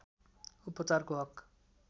उपचारको हक